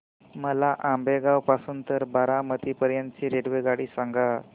मला आंबेगाव पासून तर बारामती पर्यंत ची रेल्वेगाडी सांगा